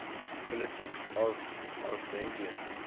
politics of armenia